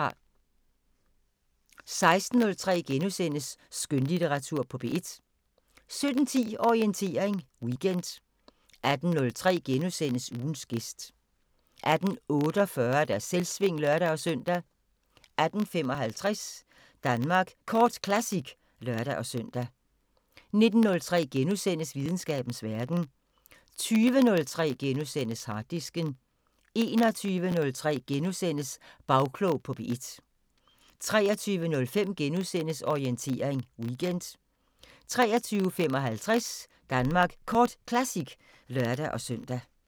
16:03: Skønlitteratur på P1 * 17:10: Orientering Weekend 18:03: Ugens gæst * 18:48: Selvsving (lør-søn) 18:55: Danmark Kort Classic (lør-søn) 19:03: Videnskabens Verden * 20:03: Harddisken * 21:03: Bagklog på P1 * 23:05: Orientering Weekend * 23:55: Danmark Kort Classic (lør-søn)